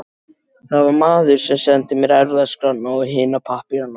Það var maðurinn sem sendi mér erfðaskrána og hina pappírana.